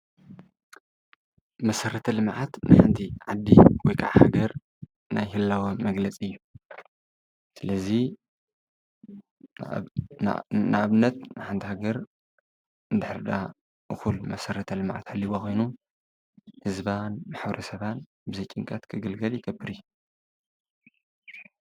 መሰረተ ልምዓት ናይ ሓንቲ ዓዲ ናይ ህላወ መግለፂ እዩ ፡፡ስለዚ ሓንቲ ሃገር እንድሕር ድኣ እኩል መሰረተ ልምዓት ሃልይዋ ኮይኑ ህዝባን ማሕበረሰባን ብዘይጭንቀት ክነብር ይገብር እዩ፡፡